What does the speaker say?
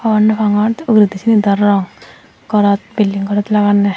hobor no pangor uguredi ciani dow rong gorot building gorot laganne.